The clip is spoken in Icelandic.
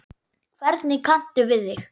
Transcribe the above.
Hvernig kanntu við þig?